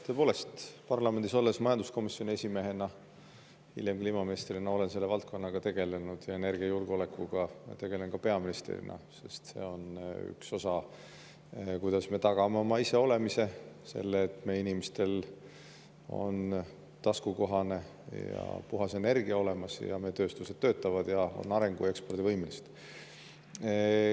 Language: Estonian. Tõepoolest, parlamendis majanduskomisjoni esimehena, hiljem kliimaministrina olen selle valdkonnaga tegelenud ja energiajulgeolekuga tegelen ka peaministrina, sest see on üks osa sellest, kuidas me tagame oma iseolemise, selle, et meie inimestel on taskukohane ja puhas energia olemas ja meie tööstused töötavad ning on arengu‑ ja ekspordivõimelised.